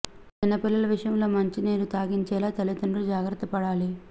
చిన్న పిల్లల విషయంలో మంచినీరు త్రాగించేలా తల్లీదం డ్రులు జాగ్రత్త పడాలి